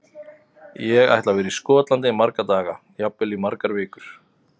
Ég ætla að vera í Skotlandi í marga daga, jafnvel í margar vikur.